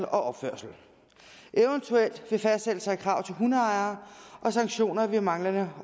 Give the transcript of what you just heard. opførsel eventuelt ved fastsættelse af krav til hundeejere og sanktioner ved manglende